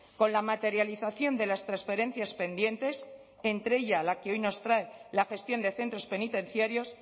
con la materialización de las transferencias pendientes entre ellas la que hoy nos trae la gestión de centros penitenciarios